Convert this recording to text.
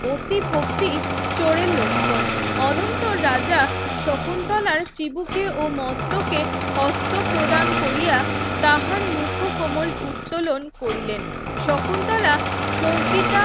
অতি ভক্তি চোরের লক্ষণ অনন্ত রাজা শকুন্তলার চিবুকে ও মস্তকে হস্ত প্রদান কোরিয়া তাহার মুখ কোমল উত্তলন করিলেন শকুন্তলা চৌকিটা